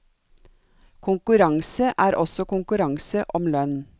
Konkurranse er også konkurranse om lønn.